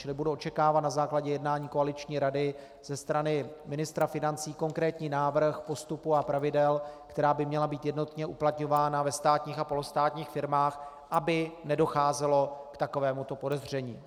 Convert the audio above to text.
Čili budu očekávat na základě jednání koaliční rady ze strany ministra financí konkrétní návrh postupu a pravidel, která by měla být jednotně uplatňována ve státních a polostátních firmách, aby nedocházelo k takovémuto podezření.